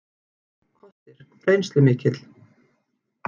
Kostir: Reynslumikill.